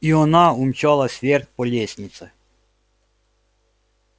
и она умчалась вверх по лестнице